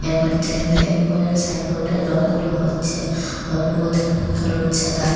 ঘরটায় হের উপরে সাইনবোর্ড -এর রং গুলো হচ্ছে হলুদ হলুদ সাদা--